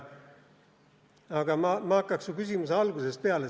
Aga ma hakkaksin su küsimuse algusest peale.